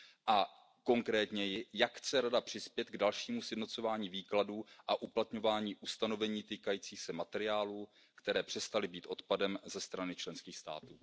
A konkrétněji, jak chce Rada přispět k dalšímu sjednocování výkladu a uplatňování ustanovení týkajících se materiálů, které přestaly být odpadem ze strany členských států?